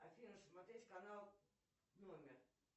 афина смотреть канал номер